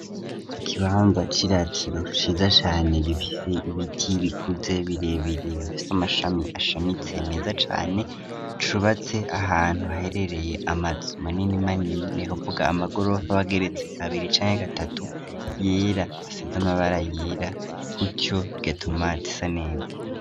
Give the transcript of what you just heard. Ikibanza c'iratiro ciza cane gifise ibiti bikuze birebireifise amashami ashamitse meza cane cubatse ahantu haherereye amazu manini manini nekavuga amagorov abageretse kabiri icani'agatatu yera asez amabara yera kutyo bgatoma tisaneza.